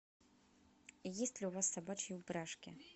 есть ли у вас собачьи упряжки